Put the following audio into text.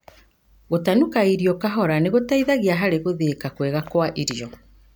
Gũtanuka irio kahora nĩgũteithagia harĩ gũthĩika kwega kwa irio.